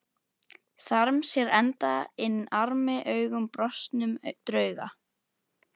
Þarm sér enda inn armi augum brostnum drauga.